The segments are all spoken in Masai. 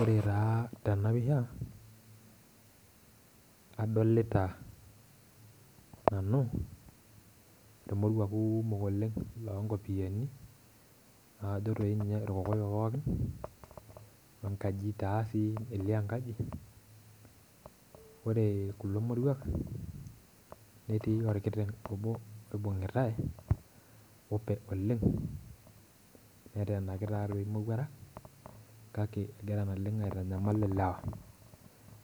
Ore tee tena pisha adolita nanu. ilmoruak kumok oleng loo nkopoyiani. naa kajo dii ninye irkokoyo pookin.we nkaji elio enkaji. ore kulo moruak netii orkiteng obo oibungitae ope oleng. netaanaki taa imowuarak. kake egira naleng aitanyamal ilewa.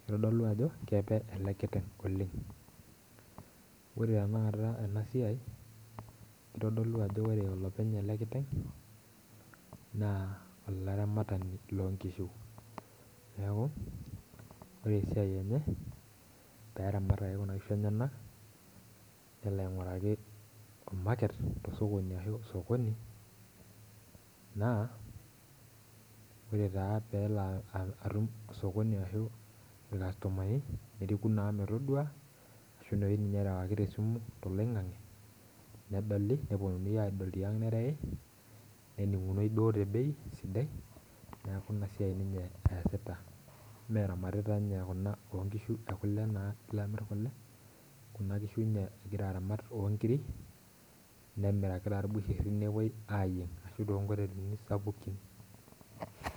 kitodolu ajo keep ele kiteng oleng. ore tenaata ena siai kitodolu ajo ore olopeny ele kiteng naa olaramatani loo nkishu. neeku ore esiai enye, pee eramat ake Kuna kishu enyanak. nelo ainguraki market tosokoni naa ore taa pee elo atum osokoni ashu ilkastomani, neriki naa pookin metodua, ashu erewaki te simu toloingange, nedoli nepuonunui aadol tiang' nereewi. neningunoi duo te bei sidai. neeku Ina siai ninye eesita. eramatita Kuna nkishu ekule pee elo amir kule. kuna kishu ninye egira aramat oo nkiri, nemiraki taa ibusheri, nepuoi aayieng' ashu too nkotelini sapukin